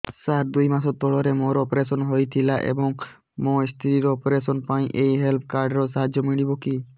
ସାର ଦୁଇ ମାସ ତଳରେ ମୋର ଅପେରସନ ହୈ ଥିଲା ଏବେ ମୋ ସ୍ତ୍ରୀ ର ଅପେରସନ ପାଇଁ ଏହି ହେଲ୍ଥ କାର୍ଡ ର ସାହାଯ୍ୟ ମିଳିବ କି